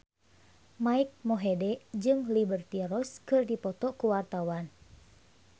Mike Mohede jeung Liberty Ross keur dipoto ku wartawan